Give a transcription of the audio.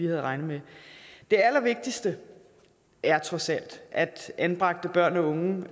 havde regnet med det allervigtigste er trods alt at anbragte børn og unge